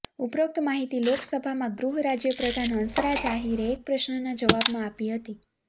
ઉપરોક્ત માહિતી લોકસભામાં ગૃહ રાજ્યપ્રધાન હંસરાજ આહીરે એક પ્રશ્નના જવાબમાં આપી હતી